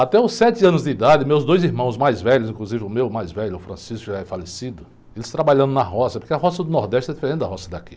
Até os sete anos de idade, meus dois irmãos mais velhos, inclusive o meu mais velho, o, que já é falecido, eles trabalhando na roça, porque a roça do Nordeste é diferente da roça daqui.